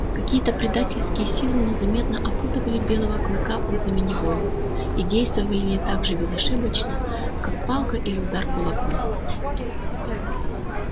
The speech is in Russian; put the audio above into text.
какие то предательские силы незаметно опутывали белого клыка узами неволи и действовали они так же безошибочно как палка или удар кулаком